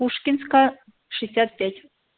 пушкинская шестьдесят пять